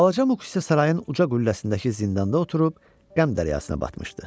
Balaca Muk isə sarayın uca qülləsindəki zindanda oturub qəm dəryasına batmışdı.